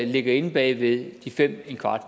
ligger inde bag ved de fem